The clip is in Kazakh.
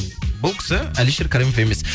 бұл кісі әлшер каримов емес